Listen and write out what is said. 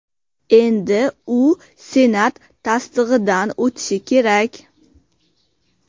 Endi u Senat tasdig‘idan o‘tishi kerak.